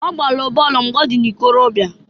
Ọ gbalụ bọolụ mgbe ọ dị n'ikorobịa.